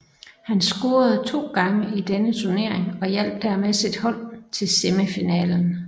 Han scorede to gange i denne turnering og hjalp dermed sit hold til semifinalen